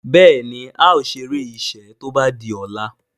Béèni ào ṣeré iṣé tó bá dì ola.